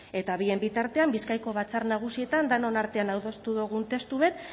eta bien bitartean bizkaiko batzar nagusietan denon artean adostu dugun testu bat